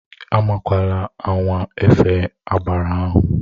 Anwakwala anwa efe agbara ahụ!